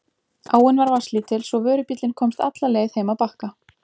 Áin var vatnslítil svo vörubíllinn komst alla leið heim að Bakka.